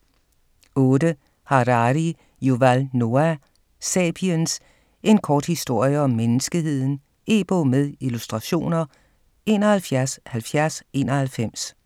8. Harari, Yuval Noah: Sapiens: en kort historie om menneskeheden E-bog med illustrationer 717091